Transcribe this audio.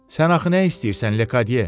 Sən axı nə istəyirsən, Lekadiye?